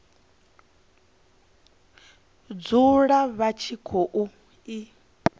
dzule vha tshi khou i